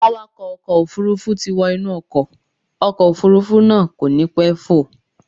Awakọ̀ ọkọ̀ Òfurufú ti wọ inú ọkọ̀, ọkọ̀ Òfurufú náà kò ní pẹ́ fò.